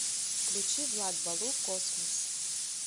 включи влад балу космос